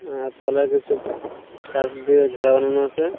আর তলায় কিছু কাঠ দিয়ে ঘেরা বানানো আছে।